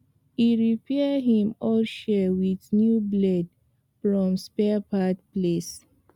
e repair him old shears with new blade from spare part place